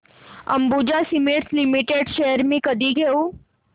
Ambuja cement limited shares मी कधी घेऊ